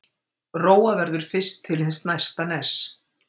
Róa verður fyrst til hins næsta ness.